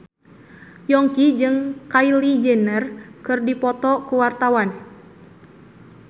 Yongki jeung Kylie Jenner keur dipoto ku wartawan